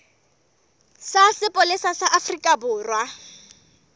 sa sepolesa sa afrika borwa